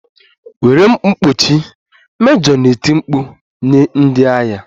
Were mkpuchi! mejọ na-eti mkpu nye ndị agha